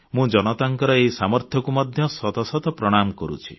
ମୁଁ ଜନତାଙ୍କ ଏହି ସାମର୍ଥ୍ୟକୁ ମଧ୍ୟ ଶତ ଶତ ପ୍ରଣାମ କରୁଛି